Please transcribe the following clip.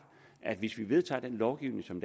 at hvis vi vedtager en lovgivning som